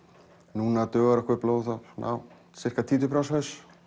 núna dugar okkur svona sirka títuprjónshaus